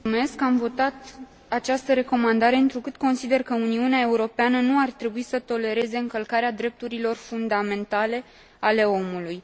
Am votat această recomandare întrucât consider că Uniunea Europeană nu ar trebui să tolereze încălcarea drepturilor fundamentale ale omului.